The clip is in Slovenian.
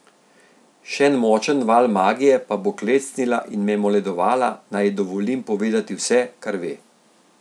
Še en močen val magije pa bo klecnila in me moledovala, naj ji dovolim povedati vse, kar ve.